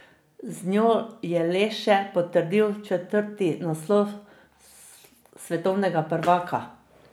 Z njo je le še potrdil četrti naslov svetovnega prvaka.